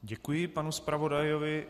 Děkuji panu zpravodajovi.